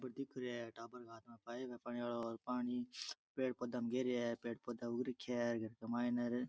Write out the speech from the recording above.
बे दिख रहिया है टाबर के हाथ में पाइप है पानी आलो पानी पेड़ पौधा में दे रहिया है पेड़ पौधा उग रख्या है घर के मायने र --